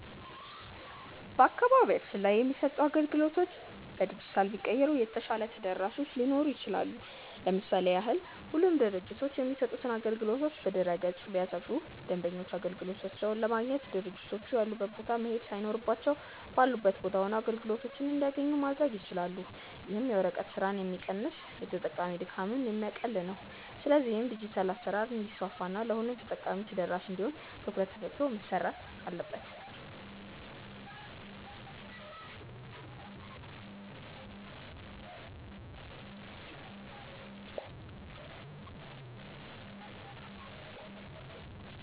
በአካባቢያችን ላይ የሚሰጡ አገልግሎቶች በዲጂታል ቢቀየሩ የተሻለ ተደራሾች ሊሆኑ ይችላሉ። ለምሳሌ ያህል ሁሉም ድርጅቶች የሚሰጡትን አገልግሎቶች በድረ-ገጽ ላይ ቢያሰፍሩ ደንበኞች አገልግሎቶቻቸውን ለማግኘት ድርጅቶቹ ያሉበት ቦታ መሄድ ሳይኖርባቸው ባሉበት ቦታ ሆነው አገልግሎቶችን እንዲያገኙ ማድረግ ይችላሉ። ይህም የወረቀት ስራን ሚቀንስና የተጠቃሚ ድካም የሚያቀል ነው። ስለዚህም ዲጂታል አሰራር እንዲስፋፋ እና ለሁሉም ተጠቃሚ ተደራሽ እንዲሆን ትኩረት ተሰጥቶ መሰረት አለበት።